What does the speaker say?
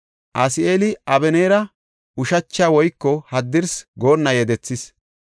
Asaheeli Abeneera ushachi woyko haddirsi goonna yedethis.